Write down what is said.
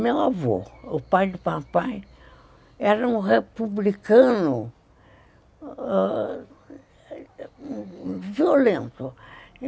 Meu avô, o pai de papai, era um republicano violento.